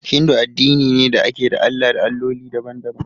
Hindu addini ne da ke da Allah da Alloli daban-daban.